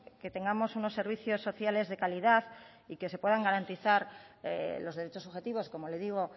que tengamos unos servicios sociales de calidad y que se puedan garantizar los derechos objetivos como le digo